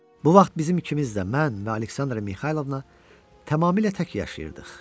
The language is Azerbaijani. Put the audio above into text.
Bu vaxt bizim ikimiz də, mən və Aleksandra Mixaylovna tamamilə tək yaşayırdıq.